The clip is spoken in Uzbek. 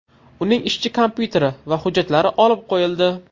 Uning ishchi kompyuteri va hujjatlari olib qo‘yildi.